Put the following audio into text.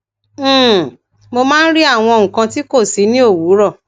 um mo máa ń rí àwọn nǹkan ti kó si ni owuro